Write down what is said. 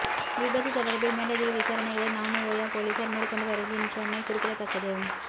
இவ்விபத்து தொடர்பில் மேலதிக விசாரனைகளை நானுஒயா பொலிஸார் மேற்கொண்டு வருகின்றமை குறிப்பிடதக்கது